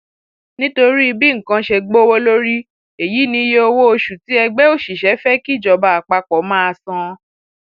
nítorí bí nǹkan ṣe gbówó lórí èyí niye owóoṣù tí ẹgbẹ òṣìṣẹ fẹ kíjọba àpapọ máa san